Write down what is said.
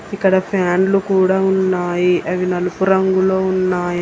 ఇక్కడ ఫ్యాన్లు కూడా ఉన్నాయి అవి నలుపు రంగులో ఉన్నాయి.